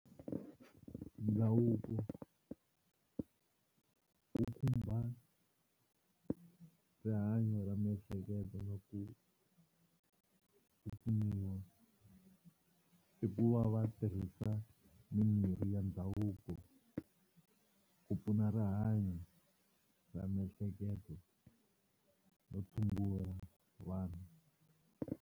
Ndhavuko wu khumba rihanyo ra miehleketo na ku pfuniwa i ku va va tirhisa mimirhi ya ndhavuko ku pfuna rihanyo ra miehleketo no tshungula vanhu.